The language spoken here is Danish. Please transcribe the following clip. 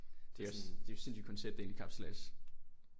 Det er sådan det er jo sindssygt koncept egentlig kapsejlads